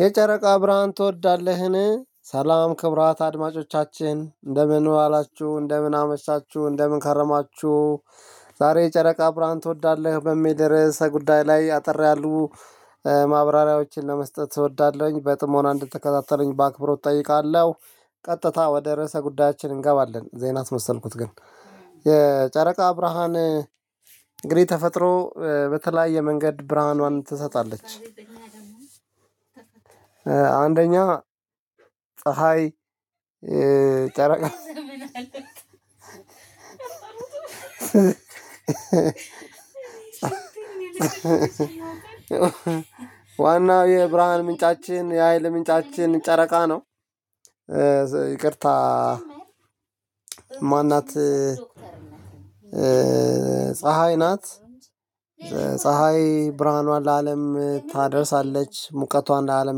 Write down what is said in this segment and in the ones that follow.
የጨረቃ ብርሃን ትወዳለህን? ሰላም ክቡራት አድማጮቻችን እንደምን ዋላችሁ እንደምን አመሻችሁ እንደምን ከረማችሁ። ዛሬ ጨረቃ ብርሃን ትወዳለህ በሚል ርዕሰ ጉዳይ ላይ አጠር ያሉ ማብራሪያዎችን ለመስጠት እወዳለሁኝ በጥሞና እንድትከታተለኝ በአክብሮት እጠይቃለሁ። ቀጥታ ወደ ርዕሰ ጉዳያችን እንገባለን ዜና አሰመሰልኩት ግን። የጨረቃ ብርሃን እንግዲህ ተፈጥሮ በተለያየ መንገድ ብርሃኗን ትሰጣለች። አንደኛ ፀሀይ ጨረቃ ዋናው የብርሃን ምንጫችን የሀይል ምንጫችን ጨረቃ ነው። ይቅርታ ማን ናት? ፀሀይ ናት። ፀሀይ ብርሃኗን ለአለም ታደርሳለች ሙቀቷን ለአለም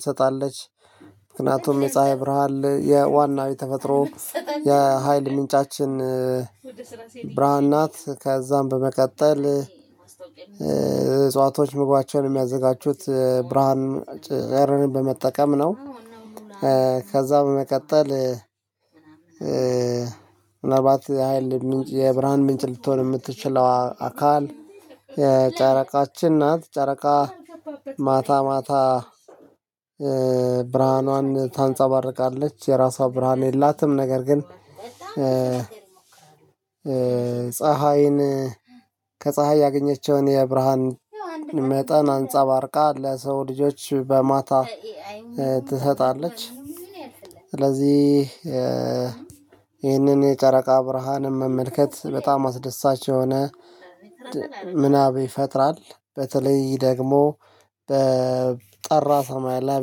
ትሰጣለች። ምክንያቱም የፀሀይ ብርሃን የዋና ተፈጥሮ የሀይል ምንጫችን። ብርሃን ናት ከዛም በመቀጠል። እጽዋቶች ምግባቸውን የሚያዘጋጁት ብርሃን ጨረርን በመጠቀም ነው። ከዛ በመቀጠል፣ ምናልባት የብርሃን ምንጭ ልትሆን የምትችለዋ አካል ጨረቃችን ናት። ጨረቃ ማታ ማታ ብርሃኗን ታንጸባርቃለች የራሷ ብርሃን የላትም። ነገር ግን ፀሀይን ከፀሀይ ያገኘቸውን የብርሃን መጠን አንፃባርቃ ለሰው ልጆች በማታ ትሰጣለች። ስለዚህ ይህንን የጨረቃ ብርሃን መመልከት በጣም አስደሳች የሆነ ምናብ ይፈጥራል። በተለይ ደግሞ በጠራ ሰማይ ላይ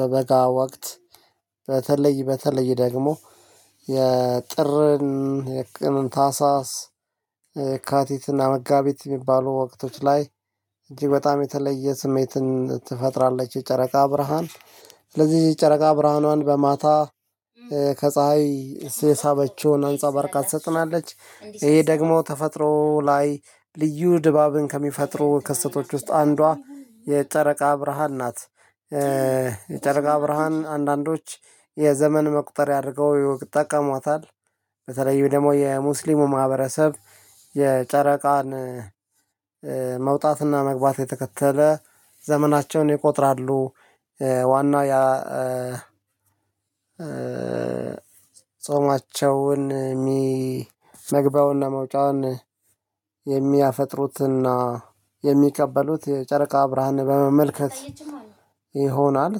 በበጋ ወቅት በተለይ በተለይ ደግሞ የጥርን የቅን ታህሳስ የካቲትና መጋቢት የሚባሉ ወቅቶች ላይ እጅግ በጣም የተለየ ስሜትን ትፈጥራለች። የጨረቃ ብርሃን ስለዚህ የጨረቃ ብርሃኗን በማታ ከፀሀይ የሳበችውን አንጸባርቃ ትሰጠናለች። ይሄ ደግሞ ተፈጥሮ ላይ ልዩ ድባብን ከሚፈጥሩ ክስተቶች ውስጥ አንዷ የጨረቃ ብርሃን ናት። የጨረቃ ብርሃን አንዳንዶች የዘመን መቁጠርያ አድርገው ይጠቀሟታል። በተለይ ደግሞ የሙስሊሙ ማህበረሰብ የጨረቃን መውጣትና መግባት የተከተለ ዘመናቸውን ይቆጥራሉ። ዋናው ያ ጾማቸውን የሚ መግያውና መውጫውን የሚያፈጥሩትና የሚቀበሉት የጨረቃ ብርሃን በመመልከት ይሆናል።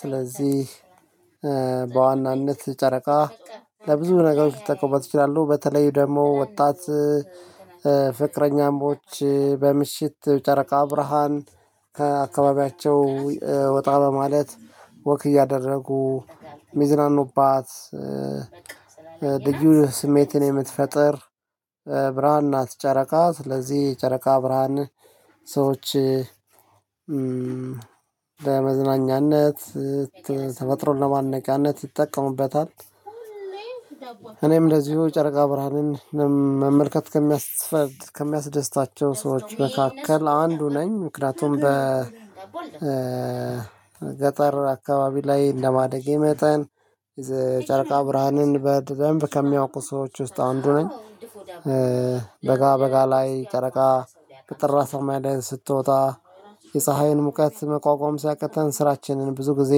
ስለዚህ በዋናነት ጨረቃ ለብዙ ነገሮች ሊጠቀመዋት ይችላሉ። በተለይ ደግሞ ወጣት ፍቅረኛሞች በምሽት ጨረቃ ብርሃን ከአካባቢያቸው ወጣ በማለት ወክ እያደረጉ የሚዝናኑባት ልዩ ስሜትን የምትፈጥር ብርሃን ናት። ጨረቃ ስለዚህ ጨረቃ ብርሃን ሰዎች ለመዝናኛነት ተፈጥሮን ለማድነቂያነት ይጠቀሙበታል። እኔም ለዚሁ ጨረቃ ብርሃንን መመልከት ከሚያስ ከሚያስደስታቸው ሰዎች መካከል አንዱ ነኝ ምክንያቱም በገጠር አካባቢ ላይ እንደማደጌ መጠን የጨረቃ ብርሃንን በደንብ ከሚያውቁ ሰዎች ውስጥ አንዱ ነኝ። በጋ በጋ ላይ ጨረቃ ቅጥር ራሱ ማይዳን ስትወጣ የፀሀይን ሙቀት መቋቋም ሲያቅተን ስራችንን ብዙ ጊዜ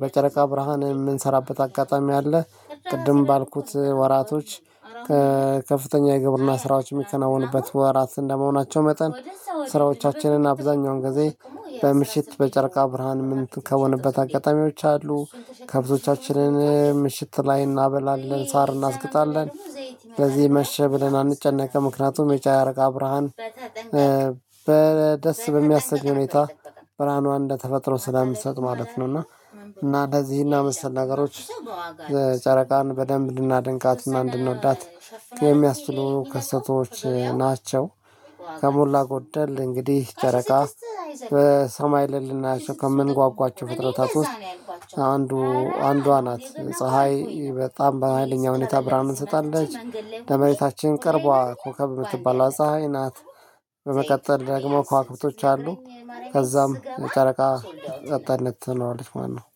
በጨረቃ ብርሃን የምንሰራበት አጋጣሚ አለ። ቅድም ባልኩት ወራቶች ከፍተኛ የግብርና ስራዎች የሚከናወንበት ወራት እንደመሆናቸው መጠን ስራዎቻችንን አብዛኛውን ጊዜ በምሽት በጨርቃ ብርሃን የምንከውንበት አጋጣሚዎች አሉ። ከብቶቻችንን ምሽት ላይ እናበላለን ሳር እናስግጣለን። በዚህ መሸ ብለን አንጨነቅም ምክንያቱም የጫረቃ ብርሃን በደስ በሚያስቅ ሁኔታ ብርሃኗ እንደተፈጥሮ ስለምትሰጥ ማለት ነው። እና እና እንደዚህ እና መሰል ነገሮች ጨረቃን በደንብ እንድናደንቃት እና እንድንወዳት ከሚያስችሉ ክስተቶች ናቸው። ከሞላ ጎደል እንግዲህ ጨረቃ በሰማይ ላይ ልናያቸው ከምንጓጓቸው ፍጥረታት ውስጥ አንዱ አንዷ ናት። ፀሀይ በጣም በሃይለኛው ሁኔታ ብርሃንን ትሰጣለች ለመሬታችን ቅርቧ ኮከብ የምትባለው ፀሀይ ናት። በመቀጠል ደግሞ ኳዋክብቶች አሉ። ከዛም የጨረቃ ጸጥተኝነት ትኖራለች ማለት ነው